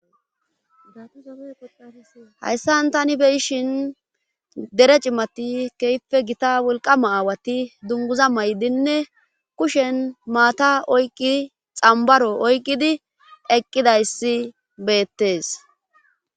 hayssan tani beyishin dere cimati kehippe gita wolqama aawati dunguza maydinne kushen maata oyqqi xambaro oyqqidi eqqidayssi beettes